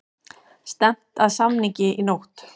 Stefnt að samningi í nótt